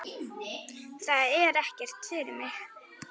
Þetta er ekkert fyrir mig.